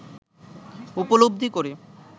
উপলব্ধি করে